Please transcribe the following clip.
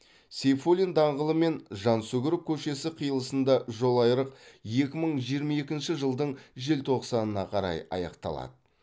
сейфуллин даңғылы мен жансүгіров көшесі қиылысында жолайрық екі мың жиырма екінші жылдың желтоқсанына қарай аяқталады